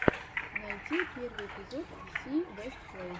найти первый эпизод си вест плей